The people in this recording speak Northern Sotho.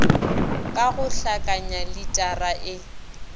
ka go hlakanya litara e